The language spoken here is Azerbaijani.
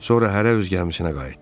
Sonra hərə öz gəmisinə qayıtdı.